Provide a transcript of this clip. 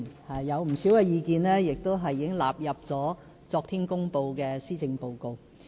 當中不少意見，已納入昨天公布的施政報告。